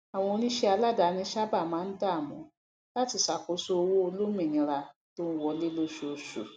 àwọn onísẹàdáni sáábà máa ń dààmú láti ṣàkóso owó olómìnira tó ń wọlé lóṣooṣù